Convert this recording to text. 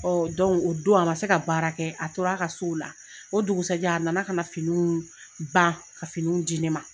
o don a man se ka baara kɛ a tora a ka so o la o dugusɛ jɛ a na na ka na finiw ban ka finiw di ne ma.